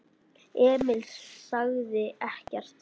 Emil sagði ekkert.